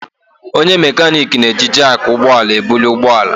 Onye mekaniiki na-eji jakị ụgbọ ala ebuli ụgbọ ala.